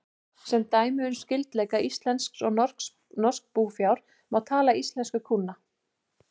Sem dæmi um skyldleika íslensks og norsks búfjár má taka íslensku kúna.